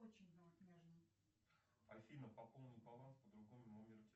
афина пополнить баланс по другому номеру телефона